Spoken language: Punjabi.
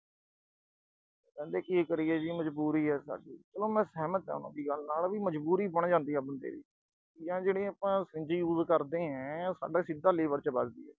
ਕਹਿੰਦੇ ਕੀ ਕਰੀਏ ਜੀ ਮਜ਼ਬੂਰੀ ਆ ਸਾਡੀ, ਚਲੋ ਮੈਂ ਸਹਿਮਤ ਆਂ ਉਨ੍ਹਾਂ ਦੀ ਗੱਲ ਨਾਲ ਵੀ ਮਜ਼ਬੂਰੀ ਬਣ ਜਾਂਦੀ ਆ ਬੰਦੇ ਦੀ, ਜਿਹੜੀ ਆਪਾਂ use ਕਰਦੇ ਆਂ, ਉਹ ਸਿੱਧਾ ਸਾਡੇ liver 'ਚ ਵਜਦੀ ਆ ਗੀ।